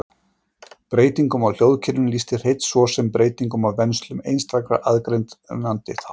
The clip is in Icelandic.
Breytingum á hljóðkerfinu lýsti Hreinn svo sem breytingum á venslum einstakra aðgreinandi þátta.